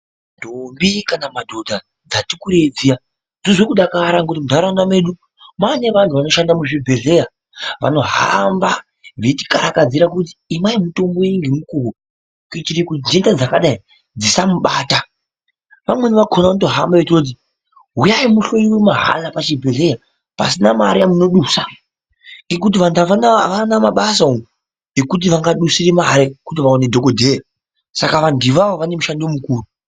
Ndombi kana madhodha dzati kureyi dziya dzirikudakara kuti muntaraunda medu mava nevanhu vanoshanda muzvibhedhlera vanohamba vachikahakadzira kuti inwai mitombo vamweni vakona vanotohamba vachitoti huyayi pazvibhedhlera mahara pasina mari yamunobisa ekuti anhu haana mabasa umu ekuti vangabisira mari kuti vaone dhokoteya saka vanhu avavo vanemushando mukuru.